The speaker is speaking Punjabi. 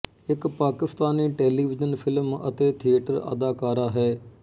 ਇੱਕ ਪਾਕਿਸਤਾਨੀ ਟੈਲੀਵਿਜ਼ਨ ਫਿਲਮ ਅਤੇ ਥੀਏਟਰ ਅਦਾਕਾਰਾ ਹੈ